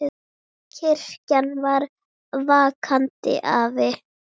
Kirkjan er vakandi afl.